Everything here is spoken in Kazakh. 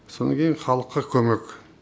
сонан кейін халыққа көмек